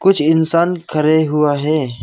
कुछ इंसान खड़े हुआ है।